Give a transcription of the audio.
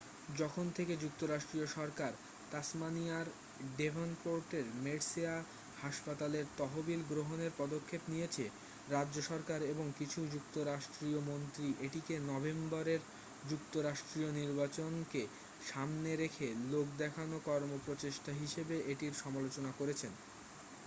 যখন থেকে যুক্তরাষ্ট্রীয় সরকার তাসমানিয়ার ডেভনপোর্টের মের্সেয় হাসপাতালের তহবিল গ্রহণের পদক্ষেপ নিয়েছে রাজ্য সরকার এবং কিছু যুক্তরাষ্ট্রীয় মন্ত্রী এটিকে নভেম্বরের যুক্তরাষ্ট্রীয় নির্বাচনেকে সামনে রেখে লোক দেখানো কর্মপ্রচেষ্টা হিসেবে এটির সমালোচনা করেছেন